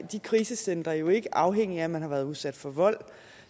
de krisecentre jo ikke afhængig af om man har været udsat for vold